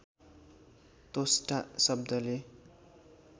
त्वष्टा शब्दले